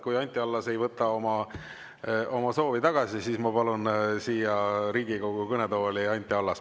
Kui Anti Allas ei võta oma soovi tagasi, siis ma palun siia Riigikogu kõnetooli Anti Allase.